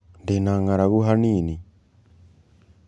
Ndĩna ngaragũ hanĩnĩ.